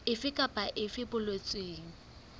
efe kapa efe e boletsweng